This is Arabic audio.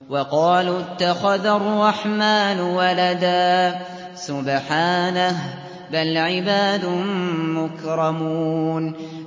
وَقَالُوا اتَّخَذَ الرَّحْمَٰنُ وَلَدًا ۗ سُبْحَانَهُ ۚ بَلْ عِبَادٌ مُّكْرَمُونَ